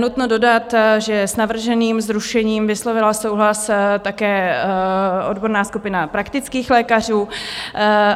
Nutno dodat, že s navrženým zrušením vyslovila souhlas také odborná skupina praktických lékařů...